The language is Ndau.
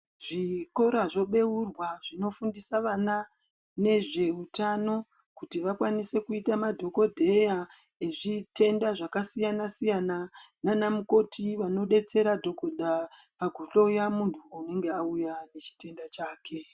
Zvikora zvobeurwa zvinofundisa vana nezveutano kuti vakwanise kuita madhokodheya nezvitenda zvakasiyana siyana nanamukoti vanodetsera dhokodha pakuhloya muntu anenge auya nechitenda chake.